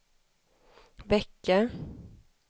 vecka